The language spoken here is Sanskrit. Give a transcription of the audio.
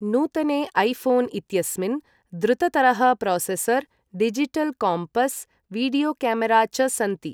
नूतने ऐफोन् इत्यस्मिन् द्रुततरः processor, digital compass, video camera च सन्ति।